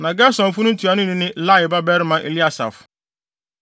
Na Gersonfo no ntuanoni ne Lael babarima Eliasaf.